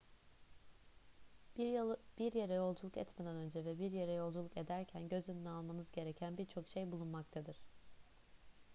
bir yere yolculuk etmeden önce ve bir yere yolculuk ederken göz önüne almanız gereken bir çok şey bulunmaktadır